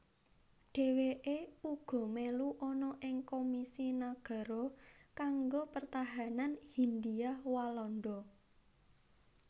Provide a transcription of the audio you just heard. Dheweke uga melu ana ing Komisi Nagara kanggo Pertahanan Hindia Walanda